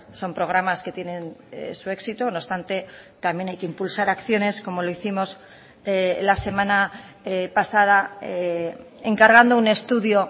son programas que tienen su éxito no obstante también hay que impulsar acciones como lo hicimos la semana pasada encargando un estudio